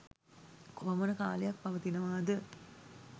කොපමණ කාලයක් පවතිනවා ද?